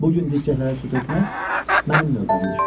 Bu gün dibçəklərə su tökmək mənim növbəmdir.